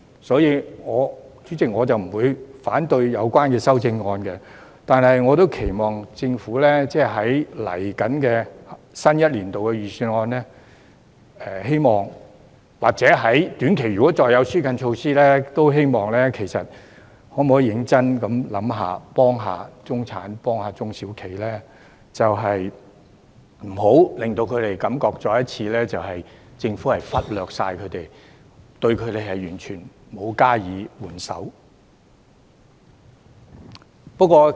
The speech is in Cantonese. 所以，主席，我不會反對有關修正案，但我亦期望政府會在接下來新一年的預算案中，或在短期如果會再推出紓困措施的話，認真想一想如何幫助中產和中小企，不要令他們再次感到政府忽略他們，對他們完全沒有施予援手。